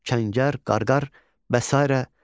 Çəngər, Qarqar və sairə.